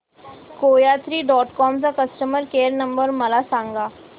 कोयात्री dot com चा customer care number मला सांगा